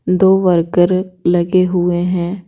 दो वर्कर लगे हुए हैं।